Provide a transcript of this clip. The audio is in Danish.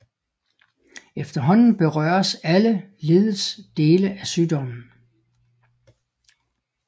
Efterhånden berøres alle leddets dele af sygdommen